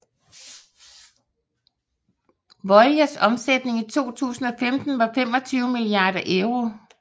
Veolias omsætning i 2015 var 25 milliarder euro